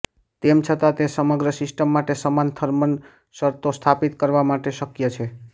તેમ છતાં તે સમગ્ર સિસ્ટમ માટે સમાન થર્મલ શરતો સ્થાપિત કરવા માટે શક્ય છે